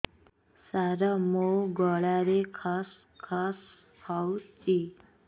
ସାର ମୋ ଗଳାରେ ଖସ ଖସ ହଉଚି